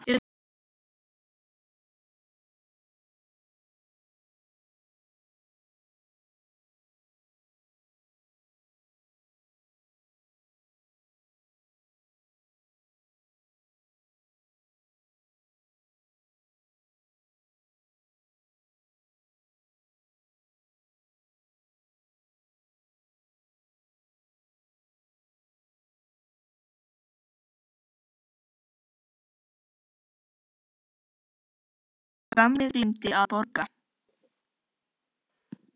Sá gamli gleymdi að borga.